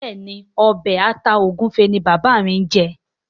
Béèni Obe atá egufe ní bàbá ñ jé.